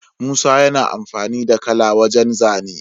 Musa yana amfani da kala wajan zane